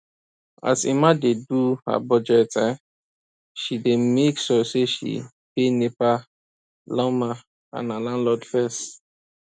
as emma dey do her budget um she dey make sure say she pay nepa lawma and her landlord fess